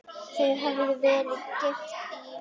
Þau höfðu verið gift í